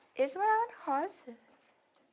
Eles moravam na roça.